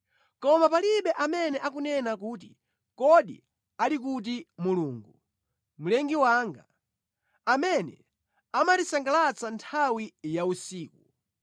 Koma palibe amene akunena kuti, ‘Kodi ali kuti Mulungu, Mlengi wanga, amene amatisangalatsa nthawi ya usiku,